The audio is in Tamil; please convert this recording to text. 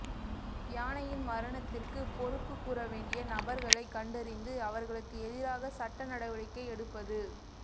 யானையின் மரணத்திற்கு பொறுப்பு கூறவேண்டிய நபர்களை கண்டறிந்து அவர்களுக்கு எதிராக சட்ட நடவடிக்கை எடுப்பது